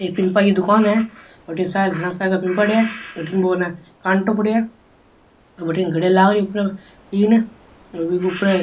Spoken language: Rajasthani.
एक पिम्पा की दुकान है अठीने सारे घना सारा पिम्पा पड़िया है अठीने बो है न काँटों पड़ियो है और बठीने घडिया लाग रही है उपरे तीन और बीके उपरे --